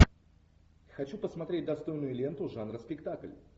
хочу посмотреть достойную ленту жанра спектакль